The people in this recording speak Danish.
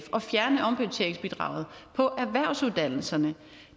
at fjerne omprioriteringsbidraget på erhvervsuddannelserne